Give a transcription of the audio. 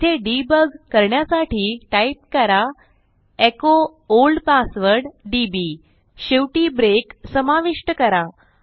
येथे डिबग करण्यासाठी टाईप करा एचो ओल्ड पासवर्ड डीबी शेवटी ब्रेक समाविष्ट करा